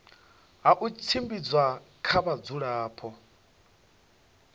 ha u tshimbidza kha vhadzulapo